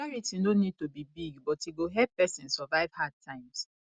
charity no need to be big but e go help person survive hard times